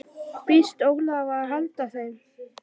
Býst Ólafur við að halda þeim?